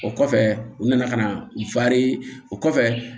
O kɔfɛ u nana ka na u fa ye o kɔfɛ